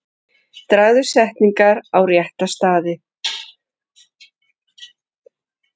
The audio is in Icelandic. Dragðu setningar á rétta staði.